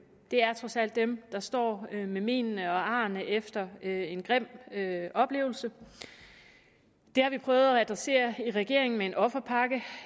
det er trods alt dem der står med menene og arrene efter en grim oplevelse det har vi prøvet at adressere i regeringen med en offerpakke